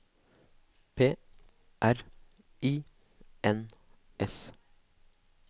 P R I N S